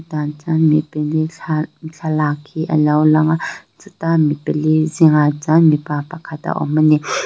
tah chuan mi pali thlalak hi alo lang a chutah mi pali zingah chuan mipa pakhat a awm ani.